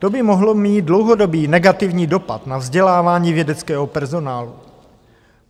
To by mohlo mít dlouhodobý negativní dopad na vzdělávání vědeckého personálu.